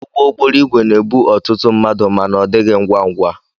Ụgbọ okporo igwe na ebu ọtụtụ mmadu ma na ọdighi ngwa ngwa.